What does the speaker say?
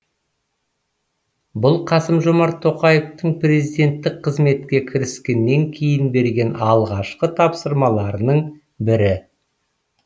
бұл қасым жомарт тоқаевтың президенттік қызметке кіріскеннен кейін берген алғашқы тапсырмаларының бірі